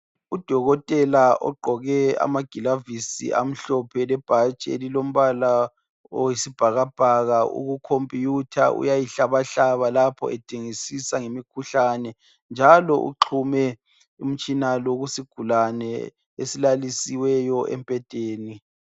Udokotela ogqoke amagilavisi amhlophe lebhatshi elilombala owesibhakabhaka ukukhompiyutha uyayihlabahlaba lapho edingisisa ngemikhuhlane njalo uxhume umtshina lo kusigulane esilalisiweyo embhedeni.